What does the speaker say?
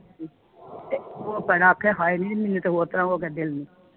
ਤੇ ਉਹ ਬਹਿਣਾ ਆਖੇ ਹਏ ਨੀ ਮੈਨੂੰ ਤੇ ਹੋਰ ਤਰਾਹ ਹੋ ਗਿਆ ਦਿਲ ਨੂੰ